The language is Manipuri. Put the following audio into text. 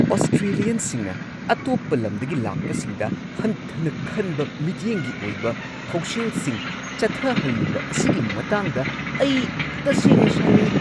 ꯑꯣꯁꯇ꯭ꯔꯦꯂꯤꯌꯟꯁꯤꯡꯅ ꯑꯇꯣꯞꯄ ꯂꯝꯗꯒꯤ ꯂꯥꯛꯄꯁꯤꯡꯗ ꯍꯟꯊꯅ ꯈꯟꯕ ꯃꯤꯠꯌꯦꯡꯒꯤ ꯑꯣꯏꯕ ꯊꯧꯁꯤꯜꯁꯤꯡ ꯆꯠꯊꯍꯜꯂꯤꯕ ꯑꯁꯤꯒꯤ ꯃꯇꯥꯡꯗ ꯑꯩ ꯇꯁꯦꯡꯅ ꯁꯥꯎꯅꯤꯡꯉꯤ꯫